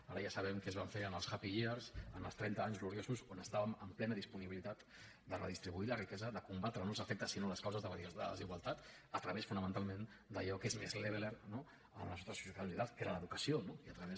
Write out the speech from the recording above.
ara ja sabem què es va fer en els happy years en els trenta anys gloriosos on estàvem en plena disponibilitat de redistribuir la riquesa de combatre no els efectes sinó les causes de la desigualtat a través fonamentalment d’allò que és més leveler a les nostres societats occidentals que era l’educació no i a través